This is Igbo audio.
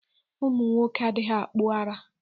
Ụmụnwoke adịghị akpụ ara.